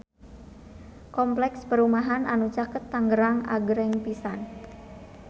Kompleks perumahan anu caket Tangerang agreng pisan